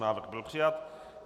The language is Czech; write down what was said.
Návrh byl přijat.